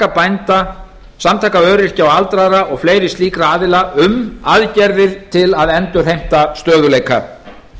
bænda samtaka öryrkja aldraðra og fleiri slíkra aðila um aðgerðir til að endurheimta stöðugleika